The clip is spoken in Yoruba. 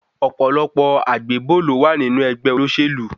Ọ̀pọ̀lọpọ̀ àgbébò ló má ń wà nínú ẹgbẹ́ olóṣèlú.